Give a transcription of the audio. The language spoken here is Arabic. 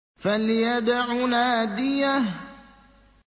فَلْيَدْعُ نَادِيَهُ